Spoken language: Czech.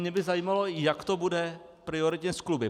Mě by zajímalo, jak to bude prioritně s kluby.